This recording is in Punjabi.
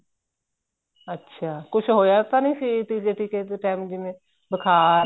ਅੱਛਾ ਕੁੱਛ ਹੋਇਆ ਤਾਂ ਨਹੀਂ ਸੀ ਤੀਜੇ ਟੀਕੇ ਤੇ ਟੇਮ ਜਿਵੇਂ ਬੁਖ਼ਾਰ